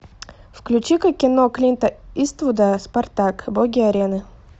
включи ка кино клинта иствуда спартак боги арены